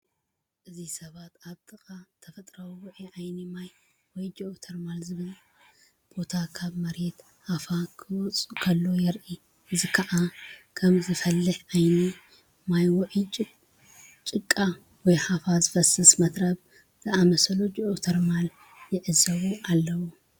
እዚ ሰባት ኣብ ጥቓ ተፈጥሮኣዊ ውዑይ ዓይኒ ማይ ወይ ጂኦተርማል ዝብሃል ቦታ ካብ መሬት ሃፋ ኺወጽእ ከሎ የርኢ። እዚ ኸኣ ከም ዝፈልሕ ዓይኒ ማይ ውዑይ ጭቃ ወይ ሃፋ ዝፈስስ መትረብ ዝኣመሰለ ጂኦተርማል ይዕዘቡ አለዎ።